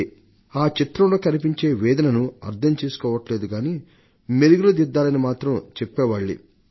ఆ చిత్రంలో కనిపించే వేదనను అర్థం చేసుకోవడం లేదు కానీ దానికి మెరుగులు దిద్దాలని చెప్పేవాళ్లే ఎక్కువ మంది